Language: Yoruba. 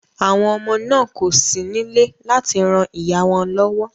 Àwọn ọmọ náà kò sí nílé láti ran ìyá wọn lọ́wọ́